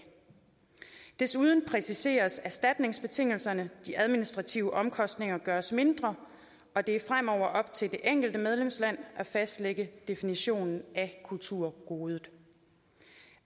desuden præciseres erstatningsbetingelserne de administrative omkostninger gøres mindre og det er fremover op til det enkelte medlemsland at fastlægge definitionen af kulturgodet